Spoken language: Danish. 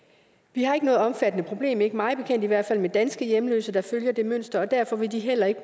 vi har ikke noget omfattende problem ikke mig bekendt i hvert fald med danske hjemløse der følger det mønster og derfor vil de heller ikke